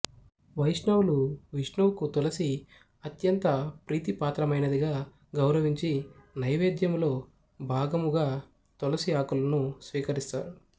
వైష్ణవులు విష్ణువుకు తులసి అత్యంత ప్రీతిపాత్రమైనదిగా గౌరవించి నైవేద్యములో భాగముగా తులసి ఆకులను స్వీకరిస్తారు